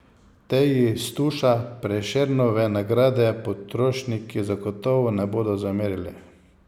Teji Stuša Prešernove nagrade potrošniki zagotovo ne bodo zamerili.